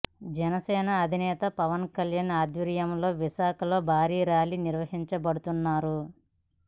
జనసేన అధినేత పవన్ కళ్యాణ్ ఆధ్వర్యంలో విశాఖలో భారీ ర్యాలీ నిర్వహించబోతున్నారు